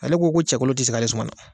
Ale ko ko cɛkolon tɛ se k'ale suma na.